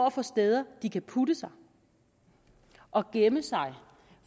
at få steder de kan putte sig og gemme sig